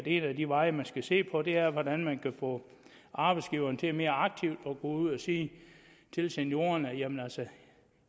en af de veje man skal se på er hvordan man kan få arbejdsgiverne til mere aktivt at gå ud og sige til seniorerne